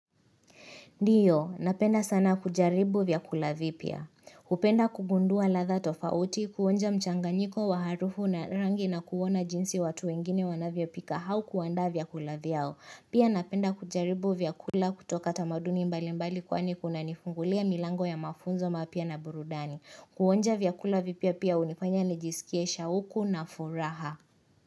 Ndio, napenda sana kujaribu vyakula vipya. Hupenda kugundua ladha tofauti, kuonja mchanganyiko wa harufu na rangi na kuona jinsi watu wengine wanavyo pika au kuandaa vyakula vyao. Pia napenda kujaribu vyakula kutoka tamaduni mbali mbali kwani kuna nifungulia milango ya mafunzo mapya na burudani. Kuonja vyakula vipya pia hunifanya nijisikie shauku na furaha.